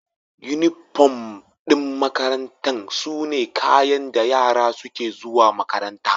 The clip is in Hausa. Unifom ɗin makaranta sune kayan da yara suke zuwa makaranta.